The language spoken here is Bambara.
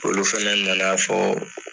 Olu fɛnɛ na na fɔ